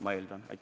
Ma eeldan, et oli.